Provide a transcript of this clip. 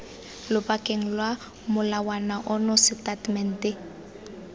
lobakeng lwa molawana ono setatamente